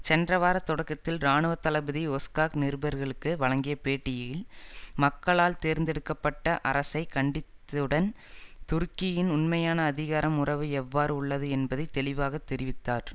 சென்ற வார தொடக்கத்தில் இராணுவ தளபதி ஒஸ்காக் நிருபர்களுக்கு வழங்கிய பேட்டியில் மக்களால் தேர்ந்தெடுக்க பட்ட அரசை கண்டித்துடன் துருக்கியின் உண்மையான அதிகாரம் உறவு எவ்வாறு உள்ளது என்பதை தெளிவாக தெரிவித்தார்